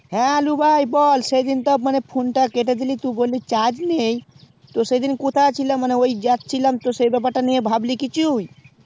হ্যাঁ আলু ভাই বল সেই দিন তো phone তা কেটে দিলি টু বললি mobile charge নেই তো সেই দিন কথা ছিলাম মানে ওই যাচ্ছিলাম তো সেই ব্যাপারটা নেইয় ভাবলি কিছু